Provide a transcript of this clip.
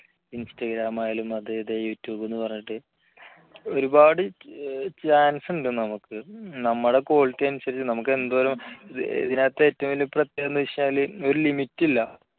instagram ആയാലും അത് ഇത് youtube എന്ന് പറഞ്ഞിട്ട് ഒരുപാട് chance ഉണ്ട് നമുക്ക് നമ്മുടെ quality അനുസരിച്ച് നമുക്ക് എന്തോരം ഇതിനകത്ത് ഏറ്റവും വലിയ പ്രത്യേകത എന്താണെന്ന് വെച്ചാൽ ഒരു limit ഇല്ല